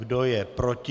Kdo je proti?